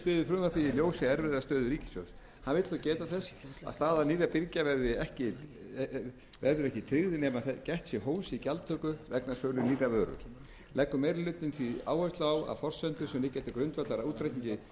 hann vill þó geta þess að staða nýrra birgja verður ekki tryggð nema gætt sé hófs í gjaldtöku vegna sölu nýrrar vöru leggur meiri hlutinn því áherslu á að forsendur sem liggja til grundvallar útreikningi